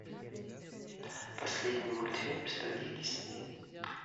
последний мультфильм студии дисней